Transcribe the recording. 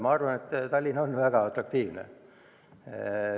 Ma arvan, et Tallinn on väga atraktiivne.